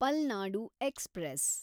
Palnadu express